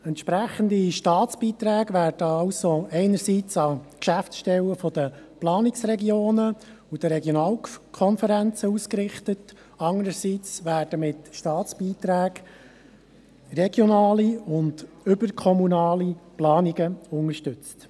Entsprechende Staatsbeiträge werden also einerseits an die Geschäftsstellen der Planungsregionen und der Regionalkonferenzen ausgerichtet, andererseits werden regionale und überkommunale Planungen mit Staatsbeiträgen unterstützt.